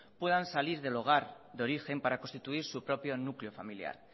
puedan salir del hogar de origen para constituir su propio núcleo familiar